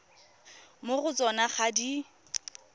mo go tsona ga di